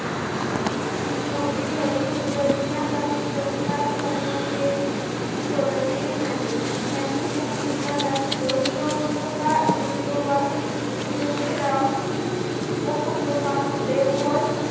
पूर्वी तळी उचलण्याचा संस्कार करण्याचे सोडविले नाही त्यांनी त्या संस्कारास बहिरोपकार बहिरोगास ज्योतिराव व खंडोबांस देवव्रत